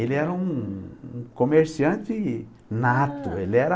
Ele era um um um comerciante nato, ele era...